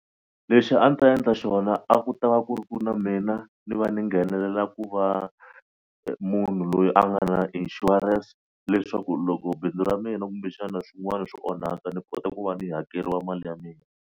Lexi a ni ta endla xona a ku ta va ku ri ku na mina ni va ni nghenelela ku va munhu loyi a nga na insurance leswaku loko bindzu ra mina kumbe xana swin'wana swi onhaka ni kota ku va ni hakeriwa mali ya mina.